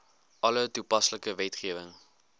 alle toepaslike wetgewing